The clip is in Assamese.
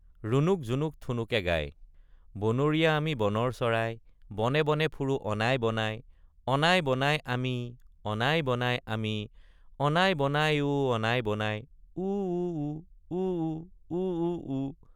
ৰুণুক জুনুক ঠুনুকে গায়— বনৰীয়া আমি বনৰ চৰাই বনে বনে ফুৰু অনাই বনাই অনাই বনাই আমি অনাই বনাই আমি অনাই বনাই অ অনাই বনাই উউউ—উউ উউউ।